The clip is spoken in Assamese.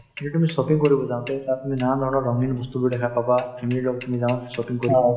এতিয়া তুমি shopping কৰিব যাওঁতে তাত তুমি নানান ধৰণৰ ৰঙীন বস্তুবোৰ দেখা পাবা family ৰ লগত তুমি যাবা shopping কৰিবলৈ